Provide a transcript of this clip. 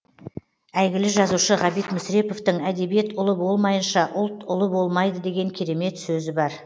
әйгілі жазушы ғабит мүсіреповтің әдебиет ұлы болмайынша ұлт ұлы болмайды деген керемет сөзі бар